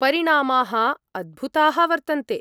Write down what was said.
परिणामाः अद्भुताः वर्तन्ते।